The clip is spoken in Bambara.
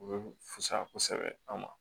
U bɛ fisaya kosɛbɛ an ma